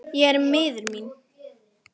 Ég er miður mín.